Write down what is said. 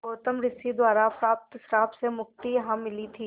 गौतम ऋषि द्वारा प्राप्त श्राप से मुक्ति यहाँ मिली थी